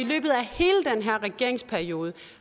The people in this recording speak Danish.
og her regeringsperiode